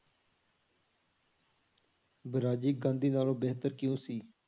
ਵਰਾਜੀ ਗਾਂਧੀ ਨਾਲੋ ਬੇਹਤਰ ਕਿਉਂ ਸੀ?